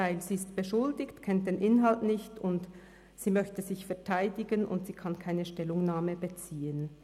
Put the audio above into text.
Sie ist beschuldigt, kennt den Inhalt nicht, sie möchte sich verteidigen, und sie kann keine Stellungnahme beziehen.